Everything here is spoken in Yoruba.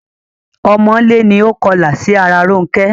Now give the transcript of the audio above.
Ọmọlé ni ó kọlà sí ara Rónkẹ́.